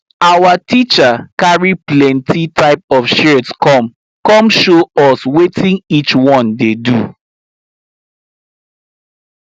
our teacher carry plenty type of shears come come show us wetin each one dey do